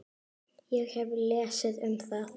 Ég hef lesið um það.